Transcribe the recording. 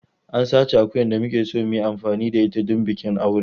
An sace akuyar da muke so mu yi amfani da ita don bikin aure.